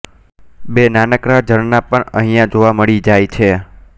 બે નાનકડાં ઝરણાં પણ અહીંયા જોવા મળી જાય છે